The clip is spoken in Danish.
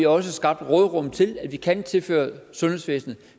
også skabt et råderum til at vi kan tilføre sundhedsvæsenet